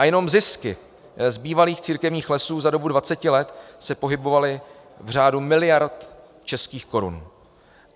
A jenom zisky z bývalých církevních lesů za dobu 20 let se pohybovaly v řádu miliard českých korun.